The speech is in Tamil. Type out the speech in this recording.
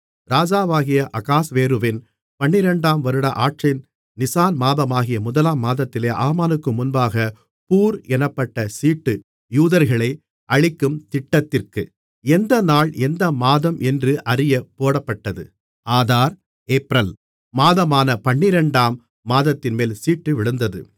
ராஜாவாகிய அகாஸ்வேருவின் பன்னிரண்டாம் வருட ஆட்சியின் நிசான் மாதமாகிய முதலாம் மாதத்திலே ஆமானுக்கு முன்பாகப் பூர் என்னப்பட்ட சீட்டு யூதர்களை அழிக்கும் திட்டத்திற்கா எந்த நாள் எந்த மாதம் என்று அறியப் போடப்பட்டது ஆதார் ஏப்ரல் மாதமான பன்னிரண்டாம் மாதத்தின்மேல் சீட்டு விழுந்தது